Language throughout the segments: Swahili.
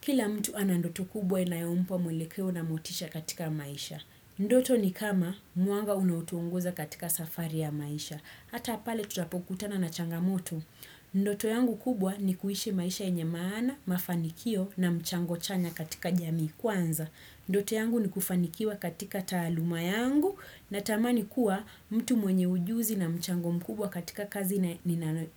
Kila mtu ana ndoto kubwa inayompa mwelekeo na motisha katika maisha. Ndoto ni kama mwanga unaotuongoza katika safari ya maisha. Hata pale tutapokutana na changamoto. Ndoto yangu kubwa ni kuishi maisha yenye maana, mafanikio na mchango chanya katika jamii kwanza. Ndoto yangu ni kufanikiwa katika taaluma yangu natamani kuwa mtu mwenye ujuzi na mchango mkubwa katika kazi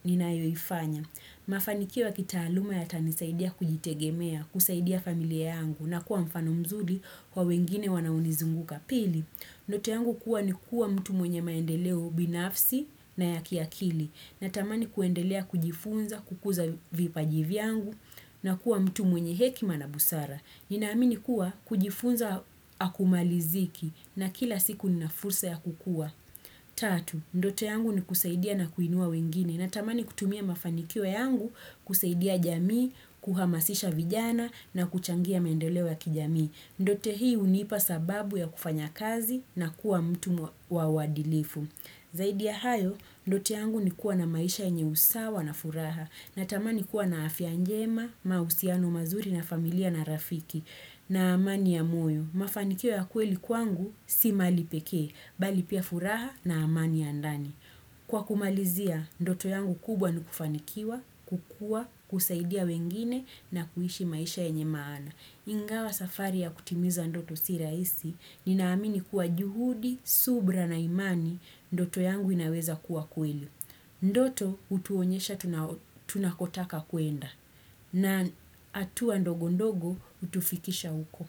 ninayoifanya. Mafanikio ya kitaaluma yatanisaidia kujitegemea, kusaidia familia yangu na kuwa mfano mzuri kwa wengine wanaonizunguka. Pili. Ndoto yangu kuwa ni kuwa mtu mwenye maendeleo binafsi na ya kiakili. Natamani kuendelea kujifunza, kukuza vipaji vyangu na kuwa mtu mwenye hekima na busara. Ninaamini kuwa kujifunza hakumaliziki na kila siku nina fursa ya kukua. Tatu, ndoto yangu ni kusaidia na kuinua wengine. Natamani kutumia mafanikio yangu kusaidia jamii, kuhamasisha vijana na kuchangia maendeleo ya kijamii. Ndoto hii hunipa sababu ya kufanya kazi na kuwa mtu wa uadilifu Zaidi ya hayo, ndoto yangu ni kuwa na maisha yenye usawa na furaha. Natamani kuwa na afya njema, mahusiano mazuri na familia na rafiki. Na amani ya moyo, mafanikio ya kweli kwangu si mali pekee bali pia furaha na amani ya ndani. Kwa kumalizia, ndoto yangu kubwa ni kufanikiwa, kukua, kusaidia wengine na kuishi maisha yenye maana. Ingawa safari ya kutimiza ndoto si rahisi, ninaamini kuwa juhudi, subira na imani, ndoto yangu inaweza kuwa kweli. Ndoto, utuonyesha tunakotaka kuenda. Na hatua ndogo ndogo, hutufikisha huko.